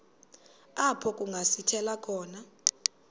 apho kungasithela khona